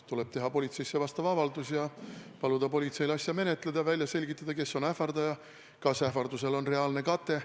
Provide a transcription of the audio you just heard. Tuleb teha politseisse vastav avaldus ning paluda politseil asja menetleda ja välja selgitada, kes on ähvardaja ja kas ähvardusel on reaalne kate.